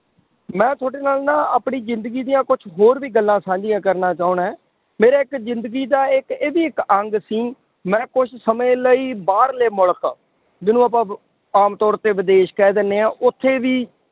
ਮੈਂ ਤੁਹਾਡੇ ਨਾਲ ਨਾ ਆਪਣੀ ਜ਼ਿੰਦਗੀ ਦੀਆਂ ਕੁਛ ਹੋਰ ਵੀ ਗੱਲਾਂ ਸਾਂਝੀਆਂ ਕਰਨਾ ਚਾਹੁਨਾ ਹੈਂ, ਮੇਰੇ ਇੱਕ ਜ਼ਿੰਦਗੀ ਦਾ ਇੱਕ ਇਹ ਵੀ ਇੱਕ ਅੰਗ ਸੀ, ਮੈਂ ਕੁਛ ਸਮੇਂ ਲਈ ਬਾਹਰਲੇ ਮੁਲਕ ਜਿਹਨੂੰ ਆਪਾਂ ਆਮ ਤੌਰ ਤੇ ਵਿਦੇਸ਼ ਕਹਿ ਦਿੰਦੇ ਹਾਂ, ਉੱਥੇ ਵੀ